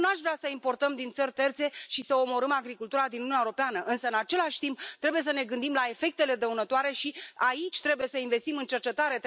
Eu nu aș vrea să importăm din țări terțe și să omorâm agricultura din Uniunea Europeană însă, în același timp, trebuie să ne gândim la efectele dăunătoare, și aici trebuie să investim în cercetare.